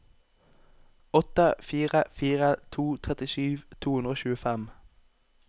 åtte fire fire to trettisju to hundre og tjuefem